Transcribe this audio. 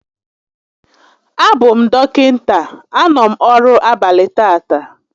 A bụ m dọkịta, a nọ m ọrụ abalị tata